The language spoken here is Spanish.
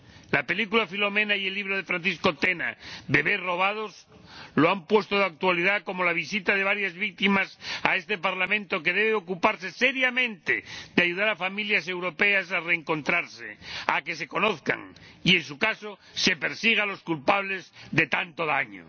La película Philomena y el libro de Francisco Tena sobre los niños robados lo han puesto de actualidad, así como la visita de varias víctimas a este Parlamento, que debe ocuparse seriamente de ayudar a familias europeas a reencontrarse, a que se conozcan y, en su caso, a que se persiga a los culpables de tanto daño.